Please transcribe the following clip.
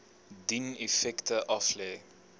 dien effekte aflê